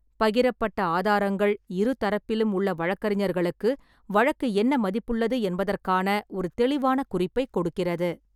பகிரப்பட்ட ஆதாரங்கள் இரு தரப்பிலும் உள்ள வழக்கறிஞர்களுக்கு வழக்கு என்ன மதிப்புள்ளது என்பதற்கான ஒரு தெளிவான குறிப்பைக் கொடுக்கிறது.